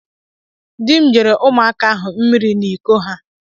Dị m nyere ụmụaka ahụ mmiri n'Iko ha.